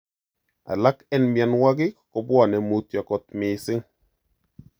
Alak en mionwokik kopwane mutyo kot missing.